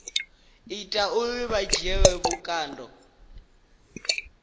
ita uri vha dzhielwe vhukando